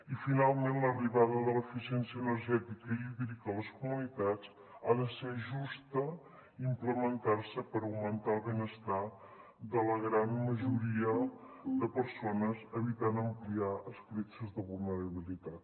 i finalment l’arribada de l’eficiència energètica i hídrica a les comunitats ha de ser justa i implementar se per augmentar el benestar de la gran majoria de persones evitant ampliar escletxes de vulnerabilitat